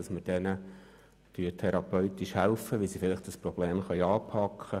Wir helfen Betroffenen therapeutisch, um dieses Problem anzupacken.